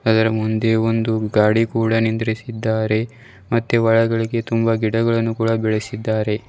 ಅದರ ಮುಂದೆ ಒಂದು ಗಾಡಿ ಕೂಡ ನಿಂರ್ದಿಸಿದ್ದಾರೆ ಮತ್ತೆ ಒಳಗಡೆಗೆ ತುಂಬ ಗಿಡಗಳನ್ನು ಕೂಡ ಬೆಳೆಸಿದ್ದಾರೆ.